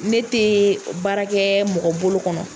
Ne te baara kɛ mɔgɔ bolo kɔnɔ.